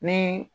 Ni